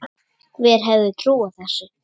Hver hefði trúað þessu!